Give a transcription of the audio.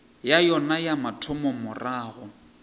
ya yona ya mathomo morago